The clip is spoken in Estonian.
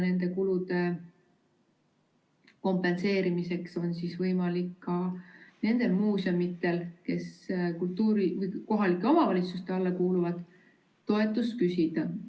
Nende kulude kompenseerimiseks on võimalik ka nendel muuseumidel, mis kohalike omavalitsuste alla kuuluvad, toetust küsida.